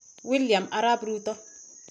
William Arap Ruto.